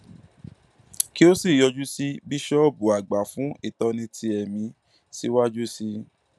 kí ó sì yọjú sí bíṣọọbù àgbà fún ìtọni ti ẹmí síwájú sí i